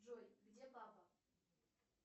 джой где папа